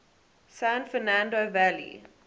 san fernando valley